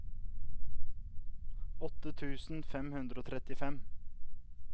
åtte tusen fem hundre og trettifem